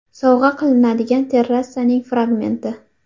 Sovg‘a qilinadigan terrasaning fragmenti.